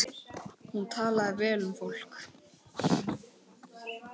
Hún talaði vel um fólk.